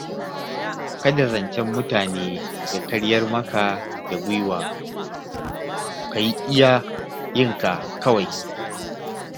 Kada zancen mutane ya karyar maka da guiwa ka yi iya yinka kawai.